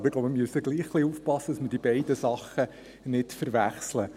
Ich glaube, wir müssen gleichwohl etwas aufpassen, dass wir die beiden Dinge nicht verwechseln.